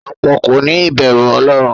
Ọ̀pọ̀ kòní ìbẹ̀rù ọlọ́run.